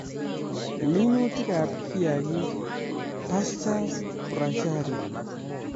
Minutik ab kiagik-pastures, bracharia